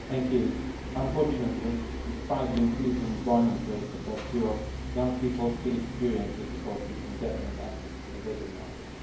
Madam President, unfortunately, despite the increase in employment rates across Europe, young people still experience difficulties in getting access to the labour market.